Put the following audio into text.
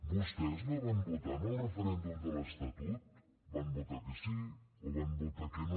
vostès no van votar en el referèndum de l’estatut van votar que sí o van votar que no